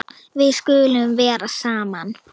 Við skulum vera saman.